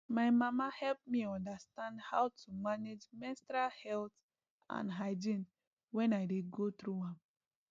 my mama help me understand how to manage menstrual health and hygiene wen i dey go through am